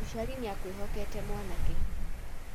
mũciari nĩakwihokete mwanake